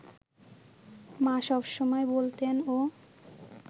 মা সব সময় বলতেনও